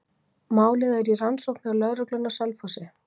Málið er í rannsókn hjá lögreglunni á Selfossi.